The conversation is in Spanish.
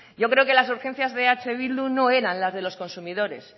yo creo que las urgencias de eh bildu no eran la de los consumidores